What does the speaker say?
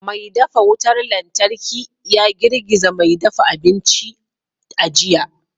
Mai dafa wutar lantarki ya girgiza mai dafa abinci a jiya